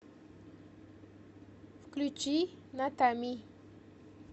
включи натами